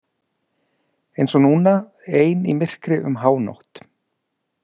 Eins og núna, ein í myrkri um hánótt.